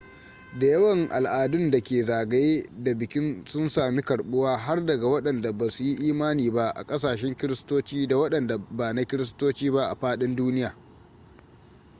da yawan an al'adun da ke zgaye da bikin sun sami karɓuwa har daga waɗanda ba su yi imani ba a kasashen kristoci da waɗanda bana kristoci ba a fadin duniya